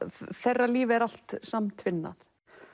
þeirra líf er allt samtvinnað